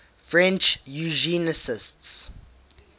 french eugenicists